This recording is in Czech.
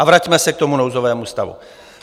A vraťme se k tomu nouzovému stavu.